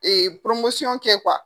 kɛ .